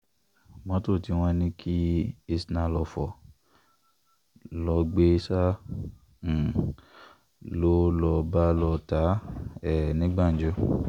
mọ́tò tí wọ́n ní kí isnah fò lọ gbé sá um lọ ló bá lọ́ọ́ ta á um ní gbàǹjo